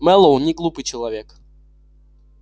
мэллоу неглупый человек